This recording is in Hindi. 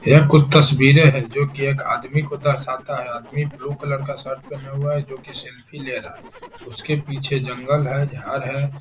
यह कुछ तस्वीरें है जो की एक आदमी को दर्शाता है । आदमी ब्लू कलर का शर्ट पेहना हुआ है जोकी सेल्फी ले रहा है । उसके पीछे जंगल है झाड़ है |